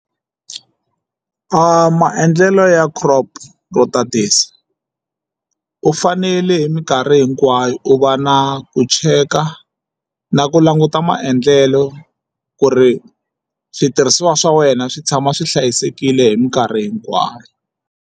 Maendlelo ya crop u fanele hi minkarhi hinkwayo u va na ku cheka na ku languta maendlelo ku ri switirhisiwa swa wena swi tshama swi hlayisekile hi mikarhi hinkwayo.